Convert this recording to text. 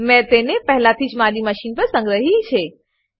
મેં તેને પહેલાથી જ મારી મશીન પર સંગ્રહી છે